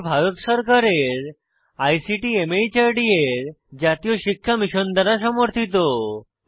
এটি ভারত সরকারের আইসিটি মাহর্দ এর জাতীয় শিক্ষা মিশন দ্বারা সমর্থিত